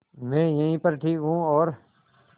मैं यहीं पर ठीक हूँ और